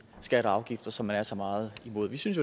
skatter og afgifter som man er så meget imod vi synes